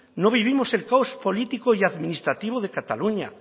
no vivimos el caos político y administrativo de cataluña